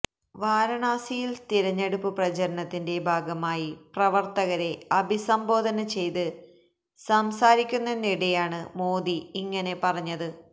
വാരാണസിയില് തിരഞ്ഞെടുപ്പ് പ്രചാരണത്തിന്റെ ഭാഗമായി പ്രവര്ത്തകരെ അഭിസംബോധന ചെയ്ത് സംസാരിക്കുന്നതിനിടെയാണ് മോദി ഇങ്ങനെ പറഞ്ഞത്